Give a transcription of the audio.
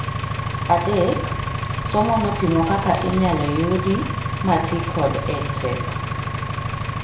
Adek, somo nopimo kaka inyalo yudi ma tii kod EdTech